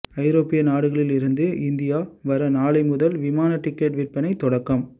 ஐரோப்பிய நாடுகளில் இருந்து இந்தியா வர நாளை முதல் விமான டிக்கெட் விற்பனை தொடக்கம்